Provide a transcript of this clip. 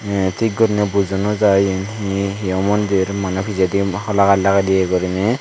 te tik gurinei bujo nojai yen hi hiyo mondir maney pijedi holagaj lage diye gurinei.